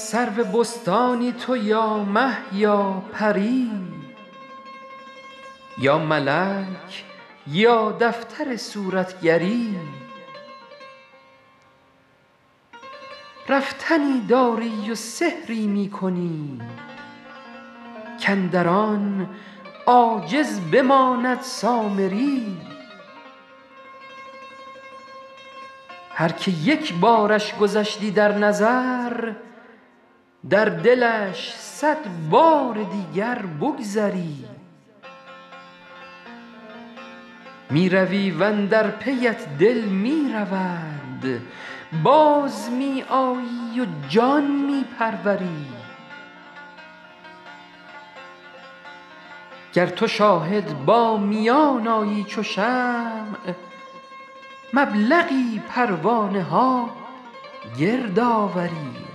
سرو بستانی تو یا مه یا پری یا ملک یا دفتر صورتگری رفتنی داری و سحری می کنی کاندر آن عاجز بماند سامری هر که یک بارش گذشتی در نظر در دلش صد بار دیگر بگذری می روی و اندر پیت دل می رود باز می آیی و جان می پروری گر تو شاهد با میان آیی چو شمع مبلغی پروانه ها گرد آوری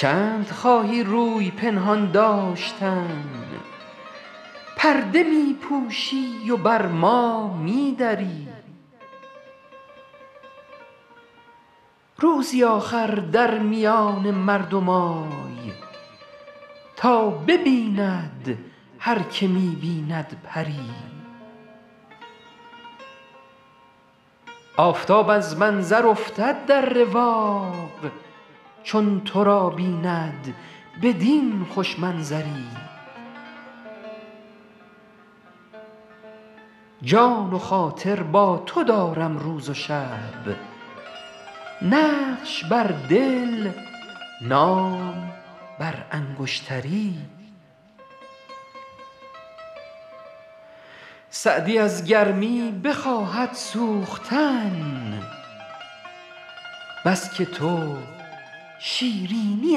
چند خواهی روی پنهان داشتن پرده می پوشی و بر ما می دری روزی آخر در میان مردم آی تا ببیند هر که می بیند پری آفتاب از منظر افتد در رواق چون تو را بیند بدین خوش منظری جان و خاطر با تو دارم روز و شب نقش بر دل نام بر انگشتری سعدی از گرمی بخواهد سوختن بس که تو شیرینی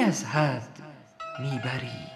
از حد می بری